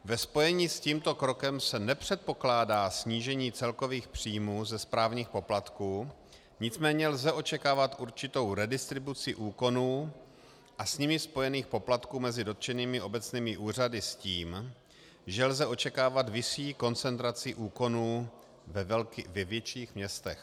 Ve spojení s tímto krokem se nepředpokládá snížení celkových příjmů ze správních poplatků, nicméně lze očekávat určitou redistribuci úkonů a s nimi spojených poplatků mezi dotčenými obecními úřady s tím, že lze očekávat vyšší koncentraci úkonů ve větších městech.